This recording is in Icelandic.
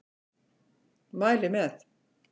Mæli með.